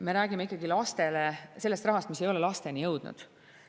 Me räägime ikkagi sellest rahast, mis ei ole lasteni jõudnud.